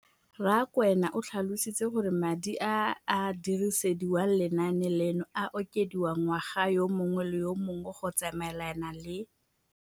Rakwena o tlhalositse gore madi a a dirisediwang lenaane leno a okediwa ngwaga yo mongwe le yo mongwe go tsamaelana le.